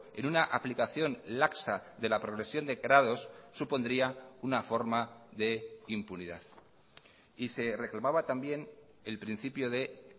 en una aplicación laxa de la progresión de grados supondría una forma de impunidad y se reclamaba también el principio de